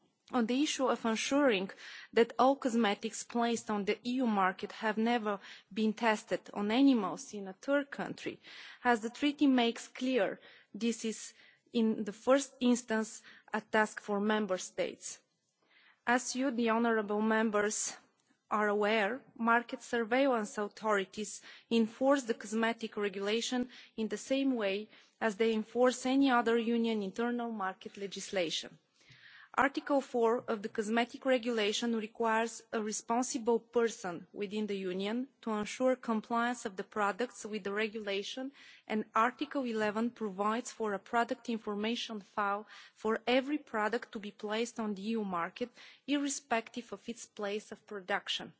On the issue of ensuring that all cosmetics placed on the EU market have never been tested on animals in a third country, as the Treaty makes clear, this is in the first instance a task for Member States. As you, the honourable Members, are aware, market surveillance authorities enforce the Cosmetics Regulation in the same way as they enforce any other Union internal market legislation. Article 4 of the Cosmetics Regulation requires a responsible person within the Union to ensure compliance of the products with the Regulation, and Article 11 provides for a Product Information File for every product to be placed on the EU market, irrespective of its place of production.